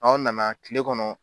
Anw nana kile kɔnɔ